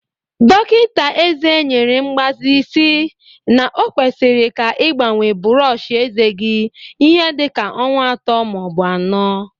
Dọkinta eze nyere mgbazi si na okwesiri ka igbanwee bụrọọchi eze gi ihe dịka ọnwa atọ maọbụ anọ.